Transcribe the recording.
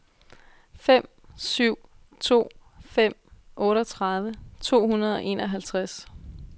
fem syv to fem otteogtredive to hundrede og enoghalvtreds